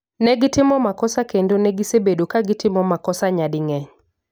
Negitimo makosa kendo negisebedo kagitimo makosa nyading'eny